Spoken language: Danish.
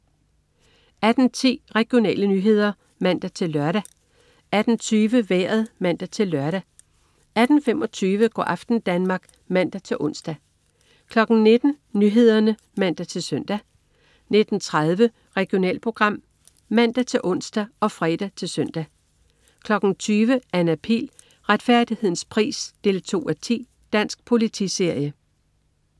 18.10 Regionale nyheder (man-lør) 18.20 Vejret (man-lør) 18.25 Go' aften Danmark (man-ons) 19.00 Nyhederne (man-søn) 19.30 Regionalprogram (man-ons og fre-søn) 20.00 Anna Pihl. Retfærdighedens pris 2:10. Dansk politiserie